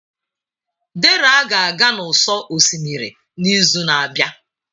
Dera ga-aga n'ụsọ osimiri n'izu na-abịa.